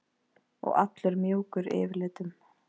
Og allur mjúkur yfirlitum.